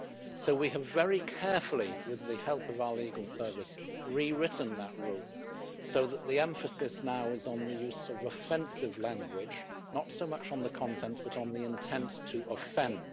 So we have very carefully, with the help of our Legal Service, rewritten that rule so that the emphasis now is on the use of offensive language, not so much on the content but on the intent to offend.